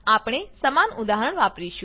આપણે સમાન ઉદાહરણ વાપરીશું